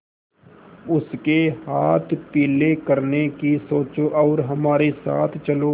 उसके हाथ पीले करने की सोचो और हमारे साथ चलो